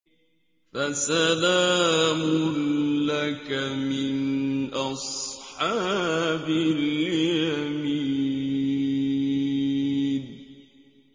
فَسَلَامٌ لَّكَ مِنْ أَصْحَابِ الْيَمِينِ